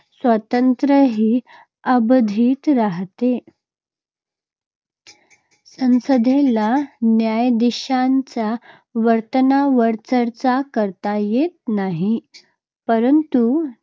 स्वातंत्र्यही अबाधित राहते. संसदेला न्यायाधीशांच्या वर्तनावर चर्चा करता येत नाही. परंतु